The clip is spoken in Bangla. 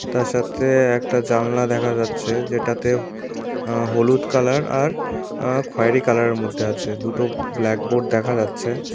তার সাথে একটা জানলা দেখা যাচ্ছে যেটাতে আ হলুদ কালার আর আ খয়েরি কালারের মধ্যে আছে দুটো ব্ল্যাকবোর্ড দেখা যাচ্ছে।